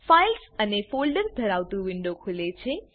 files અને folders ધરાવતું window ખુલે છે